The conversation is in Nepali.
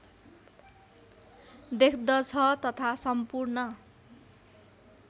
देख्दछ तथा सम्पूर्ण